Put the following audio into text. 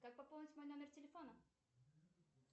как пополнить мой номер телефона